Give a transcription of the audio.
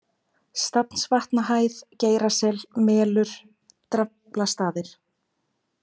Stafnsvatnahæð, Geirasel, Melur, Draflastaðir